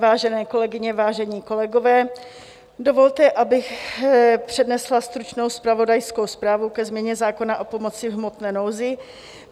Vážené kolegyně, vážení kolegové, dovolte, abych přednesla stručnou zpravodajskou zprávu ke změně zákona o pomoci v hmotné nouzi.